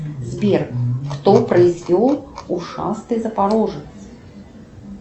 сбер кто произвел ушастый запорожец